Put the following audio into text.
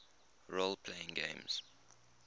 role playing games